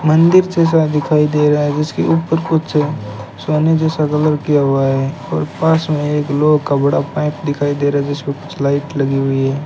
मंदिर जैसा दिखाई दे रहा है जिसके ऊपर कुछ सोने जैसा कलर किया हुआ है और पास में एक लोहे का बड़ा पाइप दिखाई दे रहा है जिसपे कुछ लाइट लगी हुई है।